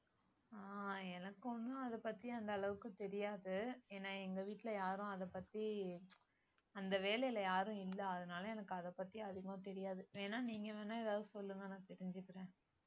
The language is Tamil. ஆஹ் எனக்கு ஒண்ணும் அதைப் பத்தி அந்த அளவுக்குத் தெரியாது ஏன்னா எங்க வீட்டுல யாரும் அதைப் பத்தி அந்த வேலையில யாரும் இல்ல அதனால எனக்கு அதைப் பத்தி அதிகமா தெரியாது வேணா நீங்க வேணா ஏதாவது சொல்லுங்க நான் தெரிஞ்சுக்கறேன்